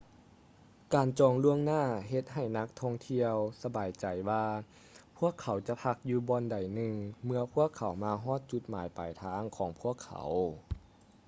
ການຈອງລ່ວງໜ້າເຮັດໃຫ້ນັກທ່ອງທ່ຽວສະບາຍໃຈວ່າພວກເຂົາຈະພັກຢູ່ບ່ອນໃດໜຶ່ງເມື່ອພວກເຂົາມາຮອດຈຸດໝາຍປາຍທາງຂອງພວກເຂົາ